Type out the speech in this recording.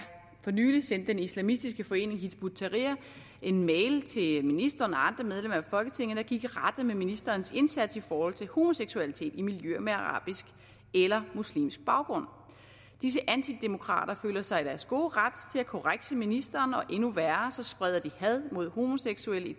for nylig sendte den islamistiske forening hizb ut tahrir en mail til ministeren og andre medlemmer af folketinget der gik i rette med ministerens indsats i forhold til homoseksualitet i miljøer med arabisk eller muslimsk baggrund disse antidemokrater føler sig i deres gode ret til at korrekse ministeren og endnu værre spreder de had mod homoseksuelle i